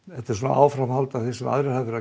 þetta er áframhald af því sem aðrir hafa verið að